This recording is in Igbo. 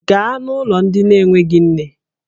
Gaa n'ụlọ ndị na-enweghị nne!